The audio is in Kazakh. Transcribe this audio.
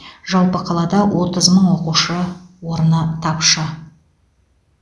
жалпы қалада отыз мың оқушы орны тапшы